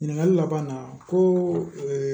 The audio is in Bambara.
Ɲininkali laban na ko